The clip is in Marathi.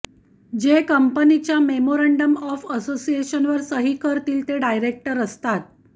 जे कंपनीच्या मेमोरॅन्डम ऑफ असोसिएशन वर सही करतील ते डायरेक्टर असतात